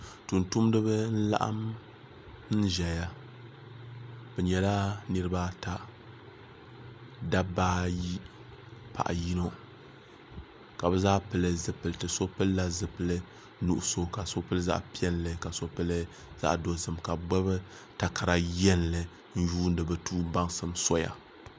tumtumdiba n laɣam n ʒɛya bi nyɛla niraba ata dabba ayi paɣa yino ka bi zaa pili zipiliti so pilila zipili nuɣso ka so pili zaɣ piɛlli ka so pili zaɣ dozim ka bi gbubi takara yɛlli n yuundi bi duu baŋsim soya